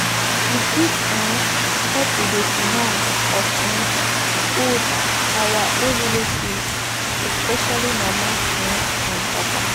we fit um help with the finances of um old our old relatives especially mama um and papa